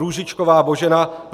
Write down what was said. Růžičková Božena